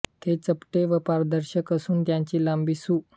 ते चपटे व पारदर्शक असून त्यांची लांबी सु